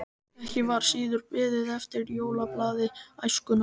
Ekki var síður beðið eftir jólablaði Æskunnar.